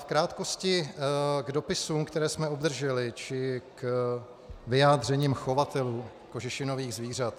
V krátkosti k dopisům, které jsme obdrželi, či k vyjádřením chovatelů kožešinových zvířat.